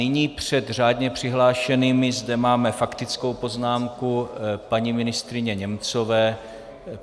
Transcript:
Nyní před řádně přihlášenými zde máme faktickou poznámku paní ministryně Němcové.